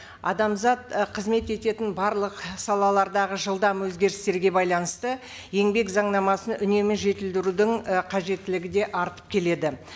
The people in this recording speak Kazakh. адамзат і қызмет ететін барлық салалардағы жылдам өзгерістерге байланысты еңбек заңнамасын үнемі жетілдірудің і қажеттілігі де артып келеді